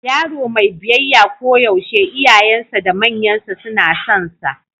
Yaro mai biyayya koyaushe iyayensa da manyansa suna sonsa.